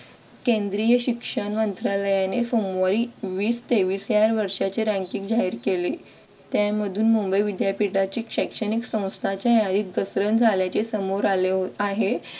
केंद्रीय शिक्षण मंत्रालयाने सोमवारी वीस तेवीस या वर्षाचे ranking जाहीर केले त्यामधून मुंबई विद्यापीठाचे शैक्षणिक संस्था च्या यादीत घसरण झाल्याचे समोर आले आहे.